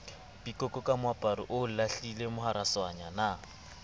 pikoko ka moaparo o lahlilemaharaswanyana